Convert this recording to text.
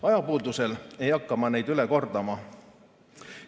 Ajapuudusel ei hakka ma neid üle kordama.